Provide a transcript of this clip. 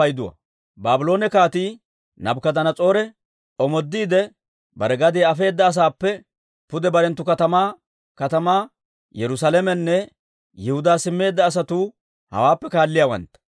Baabloone Kaatii Naabukadanas'oore omoodiide, bare gadiyaa afeedda asaappe pude barenttu katamaa katamaa, Yerusaalamenne Yihudaa simmeedda asatuu hawaappe kaalliyaawantta.